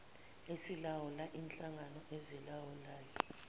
esilawula inhlangano ezilawulayo